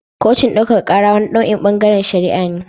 Kotun daukaka kara wani nau'in bangaren shari'a ne.